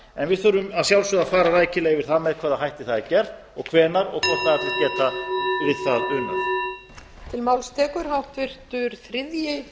en við þurfum að sjálfsögðu að fara rækilega yfir það með hvaða hætti það er gert og hvenær og hvort aðrir geta við það unað